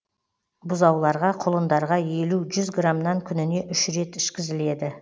бұзауларға құлындарға елу жүз грамнан күніне үш рет ішкізіледі